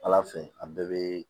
Ala fɛ a bɛɛ bɛ